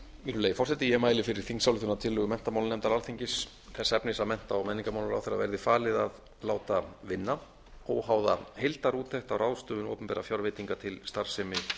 virðulegi forseti ég mæli fyrir þingsályktunartillögu menntamálanefndar alþingis þess efnis að mennta og menningarmálaráðherra verði falið að láta vinna óháða heildarúttekt á ráðstöfun opinberra fjárveitinga til starfsemi